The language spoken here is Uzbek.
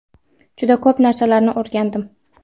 Juda ko‘p narsalarni o‘rgandim.